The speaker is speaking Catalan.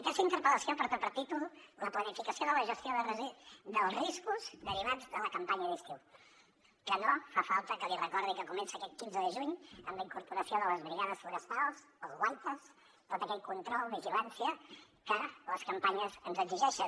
aquesta interpel·lació porta per títol la planificació de la gestió dels riscos derivats de la campanya d’estiu que no fa falta que li recordi que comença aquest quinze de juny amb la incorporació de les brigades forestals els guaites tot aquell control i vigilància que les campanyes ens exigeixen